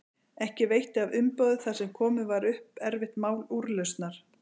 Ekki veitti af umboði þar sem komið var upp erfitt mál úrlausnar.